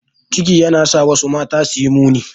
Ciki yana sa wasu mata suyi muni.